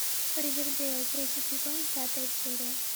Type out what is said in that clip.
ривердейл третий сезон пятая серия